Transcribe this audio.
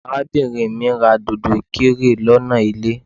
Arábìnrin mí ra dòdò ìkirè lọ́nà ilé.